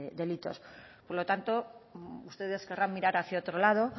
delitos por lo tanto ustedes querrán mirar hacia otro lado